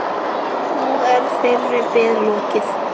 Nú er þeirri bið lokið.